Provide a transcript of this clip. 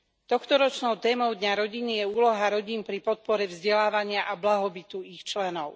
Tohtoročnou témou dňa rodiny je úloha rodín pri podpore vzdelávania a blahobytu ich členov.